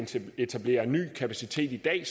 etablere en ny kapacitet i dag